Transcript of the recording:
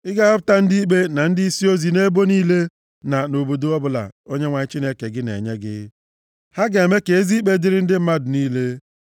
Ị ga-ahọpụta ndị ikpe, na ndịisi ozi nʼebo niile, na nʼobodo ọbụla Onyenwe anyị Chineke gị na-enye gị. Ha ga-eme ka ezi ikpe dịrị ndị mmadụ niile.